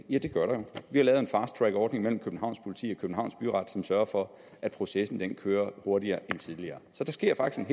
ja det gør der vi har lavet en fast track ordning mellem københavns politi og københavns byret som sørger for at processen kører hurtigere end tidligere så der sker faktisk